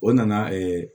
O nana